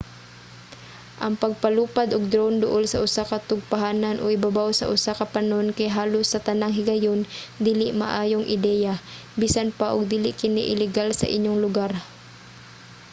ang pagpalupad og drone duol sa usa ka tugpahanan o ibabaw sa usa ka panon kay halos sa tanang higayon dili maayong ideya bisan pa og dili kini ilegal sa inyong lugar